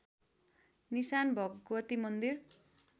निशान भगवती मन्दिर